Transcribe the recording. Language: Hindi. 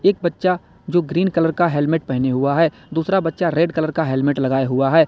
एक बच्चा जो ग्रीन कलर का हेलमेट पहना हुआ है दूसरा बच्चा रेड कलर का हेलमेट लगाए हुआ है।